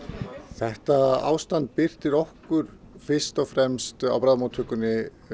þetta ástand birtist okkur fyrst og fremst á bráðamóttökunni